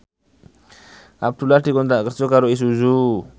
Abdullah dikontrak kerja karo Isuzu